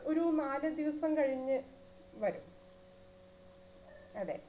ഒരു നാല് ദിവസം കഴിഞ്ഞു വരും അതെ